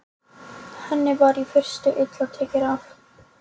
um síðan í skarðið þar sem augntönnin var áður.